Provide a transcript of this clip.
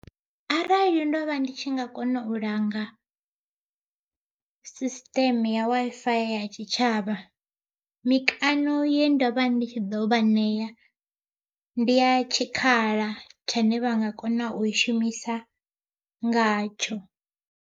Arali ndo vha ndi tshi nga kona u langa system ya Wi-Fi ya tshitshavha, mikano ye ndovha ndi tshi ḓo vha ṋea, ndi ya tshikhala tshane vha nga kona u i shumisa ngatsho.